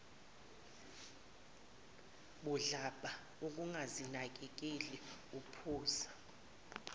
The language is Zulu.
budlabha ongazinakekeli uphuza